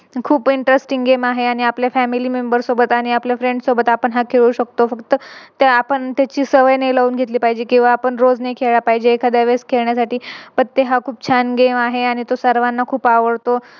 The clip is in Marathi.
खूप Interesting game आहे आणि आपल्या Family member सोबत आणि आपल्या Friends सोबत आपण हा खेळू शकतो फक्त त्या आपण सवय नाही लावून घेतली पाहिजे किव्हा ते आपण रोज नाही खेळला पाहिजे. एखाद्या वेळेस खेळण्यासाठी पत्ते हा खूप छान Game आहे आणि सर्वांना तो खूप आवडतो.